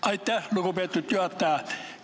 Aitäh, lugupeetud juhataja!